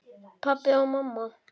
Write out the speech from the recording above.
Pabbi og mamma